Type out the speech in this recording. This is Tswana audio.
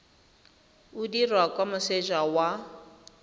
o dirwa kwa moseja wa